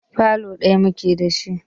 Falo ɗaya muke da shi.